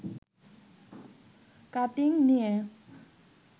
cutting নিয়ে